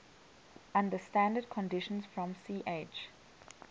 under standard conditions from ch